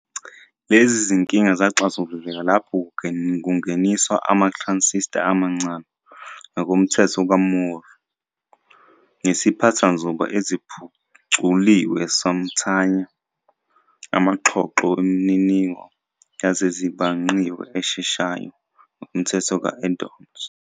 Lezi zinkinga zaxazululeka lapho kungeniswa ama-transistor amancane, ngokomthetho ka-Moore, nesiphathanzuba eziphuculiwe somthanya, amaxhoxho wemininingo yezezibhangqiwe esheshayo, ngokomthetho ka-Edholms.